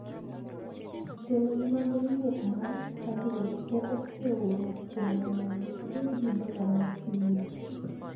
Jolony mag riwruok mar Thirdway ne oseoro kwayo mondo obed gi bura mar pinyno